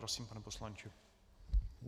Prosím, pane poslanče.